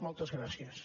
moltes gràcies